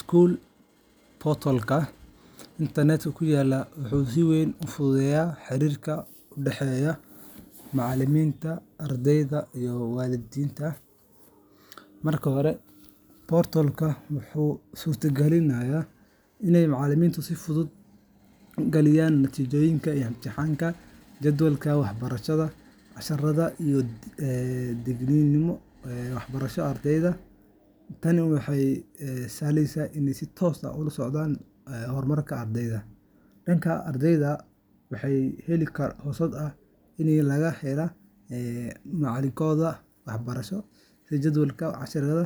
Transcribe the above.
School portal internetka ku yaalla wuxuu si weyn u fududeeyaa xiriirka u dhexeeya macallimiinta, ardayda, iyo waalidiinta. Marka hore, portal-ka wuxuu suurtageliyaa in macallimiintu si fudud u geliyaan natiijooyinka imtixaannada, jadwalka waxbarashada, casharrada iyo digniino muhiim ah oo la xiriira dabeecadda ama waxbarashada ardayda. Tani waxay u sahlaysaa inay si toos ah ula socdaan horumarka ardayga. Dhanka ardayda, waxay u helaan fursad ay kaga helaan macluumaadkooda waxbarasho sida jadwalka casharrada,